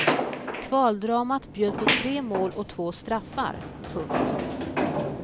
Kvaldramat bjöd på tre mål och två straffar. punkt